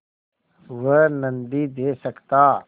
वह नदीं दे सकता